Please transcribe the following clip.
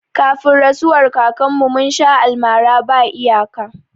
Kafin rasuwar kakar mu, mun sha almara ba iyaka